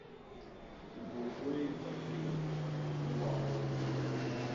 у ковбоев так принято врубай